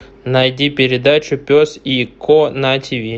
найди передачу пес и ко на тиви